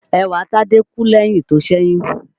Ẹwàtádé kú lẹ́yìn tó ṣẹ̀yún